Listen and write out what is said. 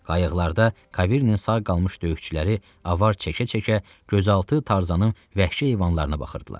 Qayıqlarda Kaviri'nin sağ qalmış döyüşçüləri avar çəkə-çəkə gözaltı Tarzanın və vəhşi heyvanlarına baxırdılar.